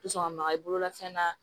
maga i bolola fɛn na